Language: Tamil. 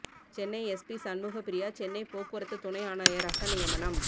சென்னை எஸ்பி ஷண்முக பிரியா சென்னை போக்குவரத்து துணை ஆணையராக நியமனம்